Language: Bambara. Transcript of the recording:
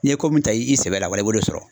N'i ye ko min ta i sɛbɛ la wala i b'o de sɔrɔ.